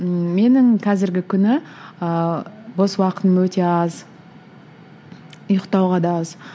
ііі менің қазіргі күні ыыы бос уақытым өте аз ұйқтауға да аз